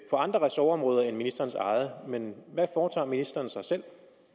på andre ressortområder end ministerens eget men hvad foretager ministeren sig selv